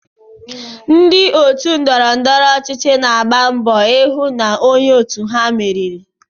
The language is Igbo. Ndị otu ndọrọndọrọ ọchịchị na-agba mbọ ịhụ na onye òtù ha meriri.